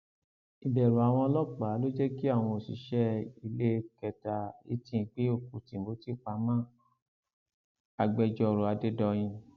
ìbẹrù àwọn ọlọpàá ló jẹ kí àwọn òṣìṣẹ iléekétà hilton gbé òkú timothy pamọ agbẹjọrò adédọyìn